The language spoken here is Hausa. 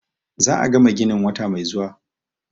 Za a gama ginin wata mai zuwa.